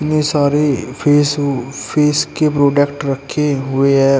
इतने सारे फेसु फेस के प्रोडक्ट रखे हुए हैं।